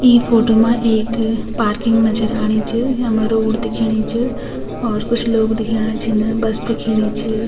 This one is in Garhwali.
ई फोटो मा एक पार्किंग नजर आणि च यम्मा रोड दिखेणी च और कुछ लोग दिखेणा छिन बस दिखेणी च।